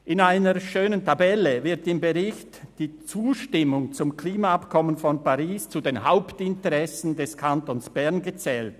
– In einer schönen Tabelle wird im Bericht die Zustimmung zum Klimaabkommen von Paris zu den Hauptinteressen des Kantons Bern gezählt.